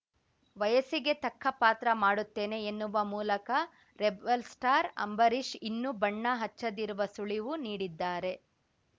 ವಯಸ್ಸಿಗೆ ತಕ್ಕ ಪಾತ್ರ ಮಾಡುತ್ತೇನೆ ಎನ್ನುವ ಮೂಲಕ ರೆಬೆಲ್‌ಸ್ಟಾರ್‌ ಅಂಬರೀಷ್‌ ಇನ್ನು ಬಣ್ಣ ಹಚ್ಚದಿರುವ ಸುಳಿವು ನೀಡಿದ್ದಾರೆ